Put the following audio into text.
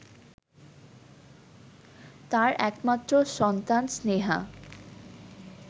তার একমাত্র সন্তান স্নেহা